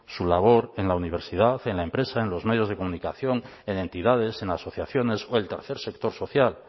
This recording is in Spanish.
su labor en la universidad en la empresa en los medios de comunicación en entidades en asociaciones o el tercer sector social